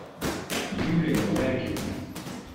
юлия ларькина